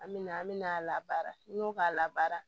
An me na an bɛna a labaara n'i y'o k'a labaara